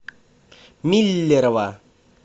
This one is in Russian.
миллерово